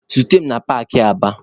Zute mụ na paakị Aba!